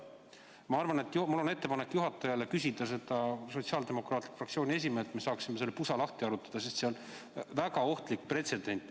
Ma arvan, et mul on ettepanek juhatajale küsida seda Sotsiaaldemokraatliku Erakonna fraktsiooni esimehelt, et me saaksime selle pusa lahti harutada, sest see on väga ohtlik pretsedent.